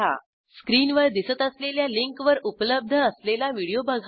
स्क्रीनवर दिसत असलेल्या लिंकवर उपलब्ध असलेला व्हिडिओ बघा